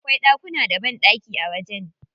Akwai ɗakuna da banɗaki a wajen.